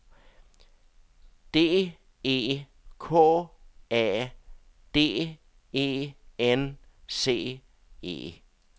D E K A D E N C E